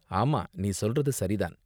ஆமா, நீ சொல்றது சரி தான்.